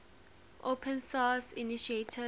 open source initiative